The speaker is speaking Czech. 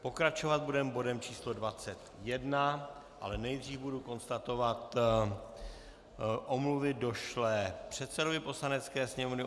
Pokračovat budeme bodem číslo 21, ale nejdříve budu konstatovat omluvy došlé předsedovi Poslanecké sněmovny.